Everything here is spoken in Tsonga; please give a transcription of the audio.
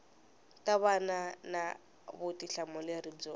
ta va na vutihlamuleri byo